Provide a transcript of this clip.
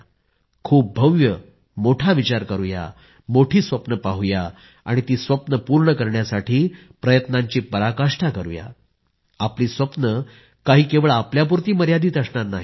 खूप भव्य मोठा विचार करूया मोठी स्वप्ने पाहूया आणि ती स्वप्ने पूर्ण करण्यासाठी जीवाची पराकाष्ठा करूया आणि आपली स्वप्ने काही केवळ आपल्यापुरती मर्यादित असणार नाहीत